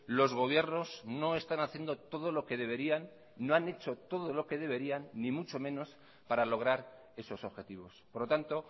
los gobiernos no están haciendo todo lo que deberían no han hecho todo lo que deberían ni mucho menos para lograr esos objetivos por lo tanto